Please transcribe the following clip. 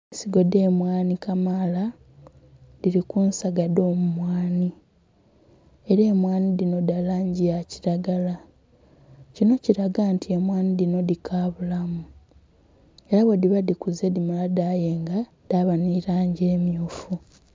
Ensigo dhe mwaanhi kamaala dhili ku nsaga dho bumwaanhi era emwanhi dhino dha langi ya kilagala kinho kilaga nti emwanhi dhino dhikabulamu era bwe dhiba dhikaze dhimala dhayenga dhaba nhi langi emyufu.